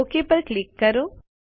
okay પર click કરો